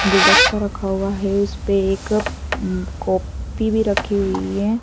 गुलदस्ता रखा हुआ है उसपे एक कॉपी भी रखी हुई है।